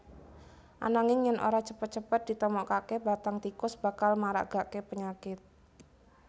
Ananging yèn ora cepet cepet ditemokaké bathang tikus bakal maragaké penyakit